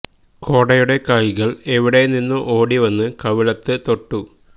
കോടയുടെ കൈകള് എവിടെ നിന്നോ ഓടി വന്ന് കവിളത്ത് തൊട്ടു